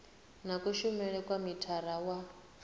na kushumele kwa mithara wa